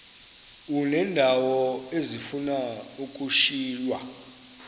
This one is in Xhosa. uneendawo ezifuna ukushiywa